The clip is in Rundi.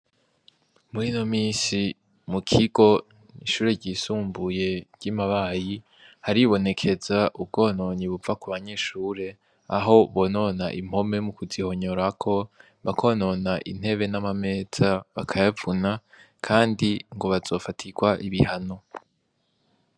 Muri no misi mu kigo ishure ryisumbuye ry'imabayi haribonekeza ubwononyi bupfa ku banyeshure aho bonona impome mu kuzihonyorako bakonona intebe n'amameza bakayavuna, kandi ngo bazofatirwa ibihano.